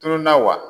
Tununna wa